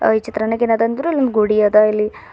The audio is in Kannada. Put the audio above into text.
ಅ ಈ ಚಿತ್ರಣದಗೇನದ ಅಂದ್ರ ಇಲ್ಲೊಂದ್ ಗುಡಿ ಅದ ಇಲ್ಲಿ.